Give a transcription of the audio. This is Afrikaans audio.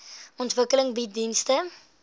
ontwikkeling bied dienste